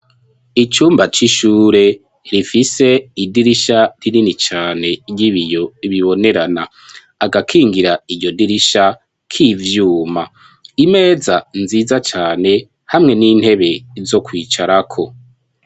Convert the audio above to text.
Icumba c'ishure rifise idirisha rinini cane y'ibiyo bibonerana, agakingira iryo dirisha k'ivyuma, imeza nziza cane hamwe n'intebe zo kwicarako.